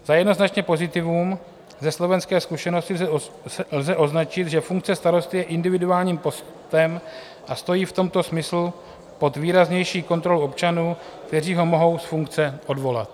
Za jednoznačné pozitivum ze slovenské zkušenosti lze označit, že funkce starosty je individuálním postem a stojí v tomto smyslu pod výraznější kontrolou občanů, kteří ho mohou z funkce odvolat.